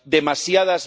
Demasiadas